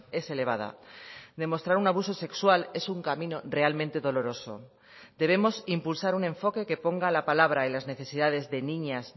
es elevada demostrar un abuso sexual es un camino realmente doloroso debemos impulsar un enfoque que ponga la palabra y las necesidades de niñas